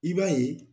I b'a ye